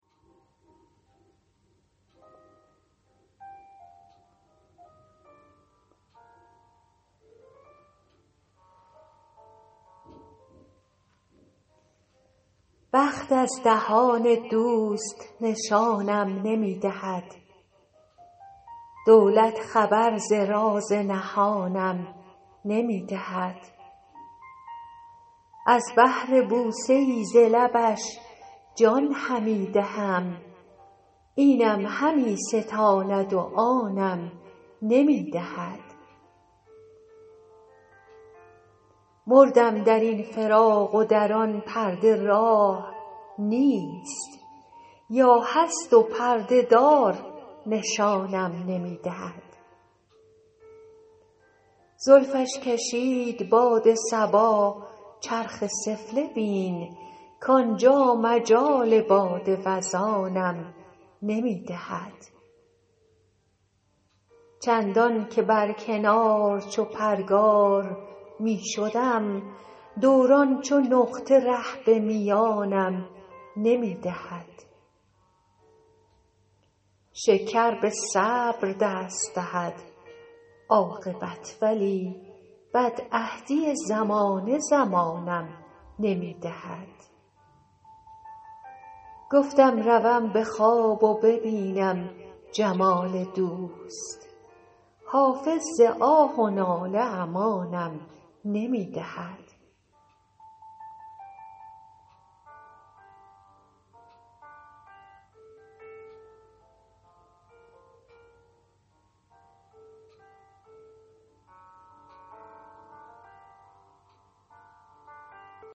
بخت از دهان دوست نشانم نمی دهد دولت خبر ز راز نهانم نمی دهد از بهر بوسه ای ز لبش جان همی دهم اینم همی ستاند و آنم نمی دهد مردم در این فراق و در آن پرده راه نیست یا هست و پرده دار نشانم نمی دهد زلفش کشید باد صبا چرخ سفله بین کانجا مجال باد وزانم نمی دهد چندان که بر کنار چو پرگار می شدم دوران چو نقطه ره به میانم نمی دهد شکر به صبر دست دهد عاقبت ولی بدعهدی زمانه زمانم نمی دهد گفتم روم به خواب و ببینم جمال دوست حافظ ز آه و ناله امانم نمی دهد